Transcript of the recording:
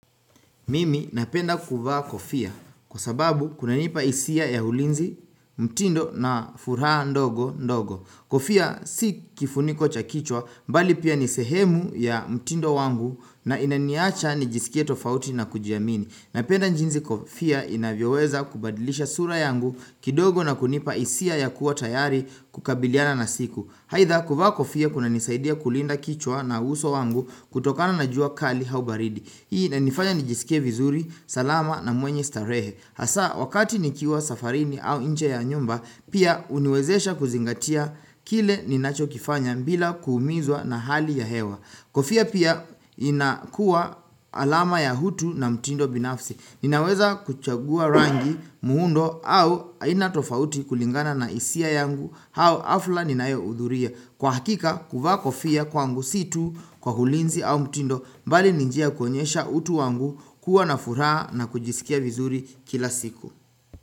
Mimi napenda kuvaa kofia kwa sababu kuna nipa hisia ya ulinzi mtindo na furaha ndogo ndogo. Kofia si kifuniko cha kichwa mbali pia nisehemu ya mtindo wangu na inaniacha nijisikie tofauti na kujiamini. Napenda jinsi kofia inavyoweza kubadilisha sura yangu kidogo na kunipa hisia ya kuwa tayari kukabiliana na siku. Aidha kuvaa kofia kuna nisaidia kulinda kichwa na uso wangu kutokana na jua kali au baridi. Hii na nifanya nijisike vizuri, salama na mwenye starehe Hasa wakati nikiwa safarini au nje ya nyumba Pia huniwezesha kuzingatia kile ninacho kifanya bila kuumizwa na hali ya hewa Kofia pia inakuwa alama ya hutu na mtindo binafsi Ninaweza kuchagua rangi muundo au aina tofauti kulingana na hisia yangu au hafla ninayohudhuria Kwa hakika kuvaa kofia kwangu situ kwa ulinzi au mtindo mbali ninjia ya kuonyesha utu wangu kuwa na furaha na kujisikia vizuri kila siku.